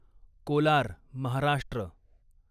Kolar Maharashtra